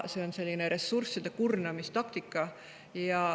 See on selline ressursside kurnamise taktika.